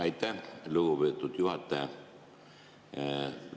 Aitäh, lugupeetud juhataja!